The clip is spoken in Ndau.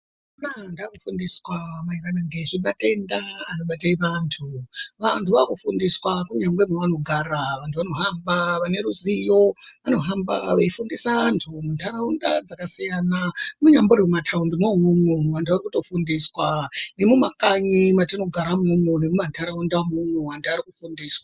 Vantu vakufundiswa maererano ngezvematenda anobate antu . Vantu vakufundiswa kunyangwe kwavanogara vantu vanohamba vaneruziyo vanohamba veyifundisa vantu muntaraunda dzakasiyana. Munyambori mumataundi imwomwo vantu varikutofundiswa nemumakanyi mwatigara imwomwo nemuntaraunda umwomwo vantu varikufundiswa.